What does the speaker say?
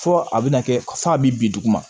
Fɔ a bɛna kɛ fɔ a bɛ bin dugu ma